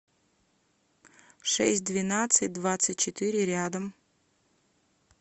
шесть двенадцать двадцать четыре рядом